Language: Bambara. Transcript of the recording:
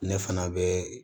Ne fana bɛ